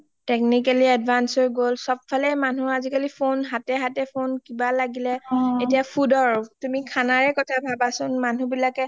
Technically advance হৈ গল সব ফালে আজি কালি মানুহ phone হাতে হাতে phone কিবা লাগিলে এতিয়া food ৰ কিবা খানা লাগিলে তুমি খানাৰে কথা ভাবা সুন মানুহ বিলাকে